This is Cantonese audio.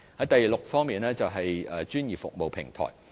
第六，是專業服務平台方面。